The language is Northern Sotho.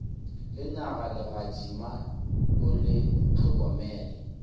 lenyaga legadima o le hlokomele